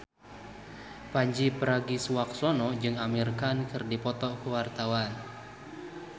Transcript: Pandji Pragiwaksono jeung Amir Khan keur dipoto ku wartawan